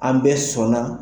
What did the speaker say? An bɛɛ sɔnna